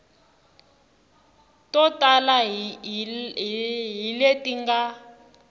to tala hi leti nga